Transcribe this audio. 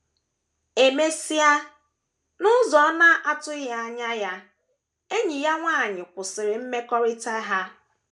E mesịa, n’ụzọ ọ na - atụghị anya ya, enyi ya nwanyị kwụsịrị mmekọrịta ha.